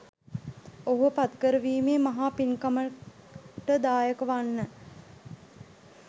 ඔහුව පත්කරවීමේ මහා පින්කමට දායක වන්න.